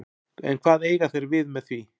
En hvað eiga þeir við með því?